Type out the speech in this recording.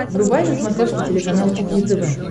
врубай на смотрешке телеканал кухня тв